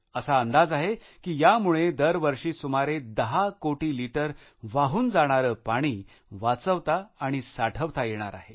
असा अंदाज आहे की यामुळे दरवर्षी सुमारे 10 कोटी लिटर वाहून जाणारे पाणी वाचवता आणि साठवता येणार आहे